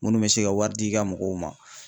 Munnu bɛ se ka wari di ka mɔgɔw ma